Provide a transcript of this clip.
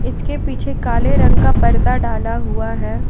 इसके पीछे काले रंग का पर्दा डाला हुआ है।